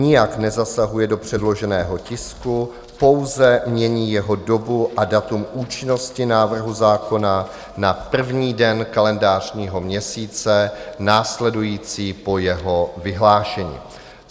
Nijak nezasahuje do předloženého tisku, pouze mění jeho dobu a datum účinnosti návrhu zákona na první den kalendářního měsíce následující po jeho vyhlášení.